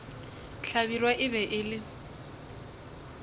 hlabirwa e be e le